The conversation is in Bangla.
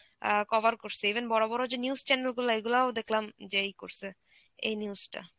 অ্যাঁ cover করসে even বড়ো বড়ো যে news channel গুলা এগুলাও দেখলাম যে এই করসে, এই news টা.